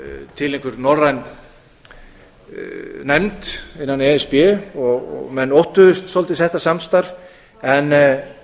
til einhver norræn nefnd innan e s b og menn óttuðust svolítið þetta samstarf en